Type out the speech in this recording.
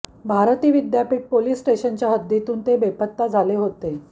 Bharti Vidyapeeth police स्टेशनच्या हद्दीतून ते बेपत्ता झाले होते